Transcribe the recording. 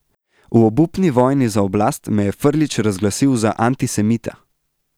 V obupni vojni za oblast me je Frljić razglasil za antisemita.